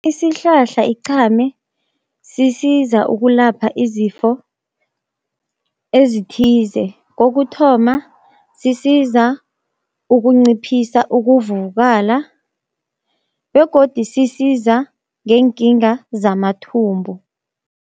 Isihlahla iqhame sisiza ukulapha izifo ezithize, kokuthoma sisiza ukunciphisa ukuvuvukala begodu sisiza ngeenkinga zamathumbu.